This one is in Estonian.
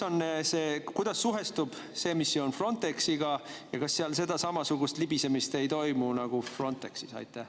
Kuidas suhestub see missioon Frontexiga ja kas seal ei toimu samasugust libisemist nagu Frontexis?